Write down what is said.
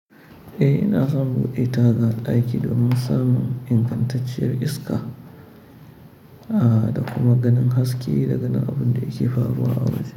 Eh, ina son buɗe taga a daki domin samun ingantacciyar iska, da kuma ganin haske da ganin abun da yake faruwa a waje.